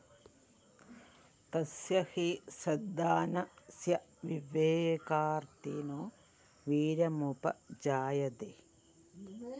തസ്യ ഹെയ്‌ ശ്രദ്ധാനസ്യ വിവേകാര്‍ഥിനോ വീര്യമുപജായതേ